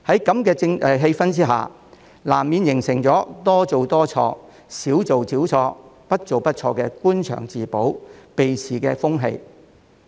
在如此氣氛下，難免會形成"多做多錯，少做少錯，不做不錯"的官場自保、避事風氣。